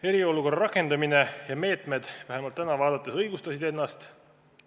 Eriolukorra rakendamine ja meetmed – vähemalt täna vaadates – õigustasid ennast.